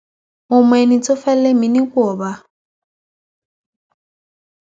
mo mọ ẹni tó fẹẹ lé mi nípò ọba